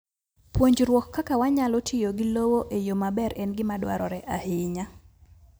Puonjruok kaka wanyalo tiyo gi lowo e yo maber en gima dwarore ahinya.